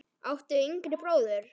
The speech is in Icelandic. áttu yngri bróður?